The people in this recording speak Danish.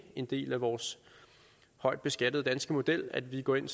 en del af vores højt skattede danske model at vi går ind